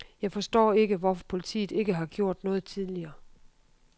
Jeg forstår ikke, hvorfor politiet ikke har gjort noget tidligere.